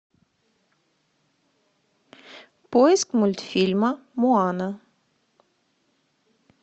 поиск мультфильма моана